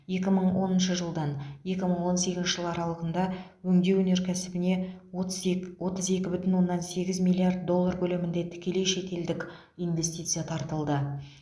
екі мың оныншы жылдан екі мың он сегізінші жыл аралығында өңдеу өнеркәсібіне отыз ек отыз екі бүтін оннан сегіз миллиард доллар көлемінде тікелей шетелдік инвестиция тартылды